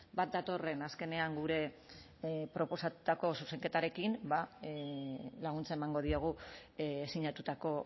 bat datorren azkenean gure proposatutako zuzenketarekin ba laguntza emango diogu sinatutako